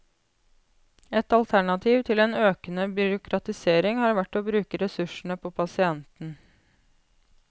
Et alternativ til en økende byråkratisering hadde vært å bruke ressursene på pasienten.